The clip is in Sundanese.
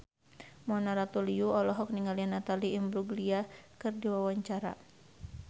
Mona Ratuliu olohok ningali Natalie Imbruglia keur diwawancara